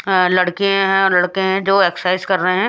अ लड़के हैं लड़के हैं जो एक्सरसाइज कर रहे।